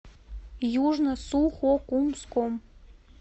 южно сухокумском